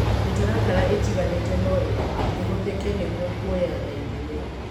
Mĩtaratara itiganĩte no ihũthĩke nĩguo kũoya na ithimi